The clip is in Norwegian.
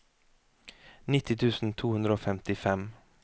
nitti tusen to hundre og femtifem